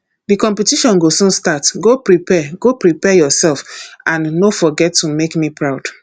the competition go soon start go prepare go prepare yourself and no forget to make me proud